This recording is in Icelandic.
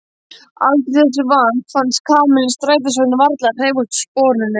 Aldrei þessu vant fannst Kamillu strætisvagninn varla hreyfast úr sporunum.